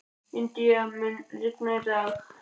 Indíana, mun rigna í dag?